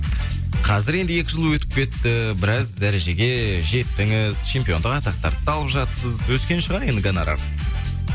қазір енді екі жыл өтіп кетті біраз дәрежеге жеттіңіз чемпиондық атақтарды да алып жатырсыз өскен шығар енді гонорар